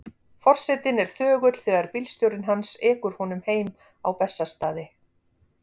Forsetinn er þögull þegar bílstjórinn hans ekur honum heim á Bessastaði.